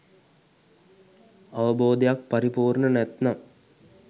අවබෝධයක් පරිපූර්ණ නැතිනම්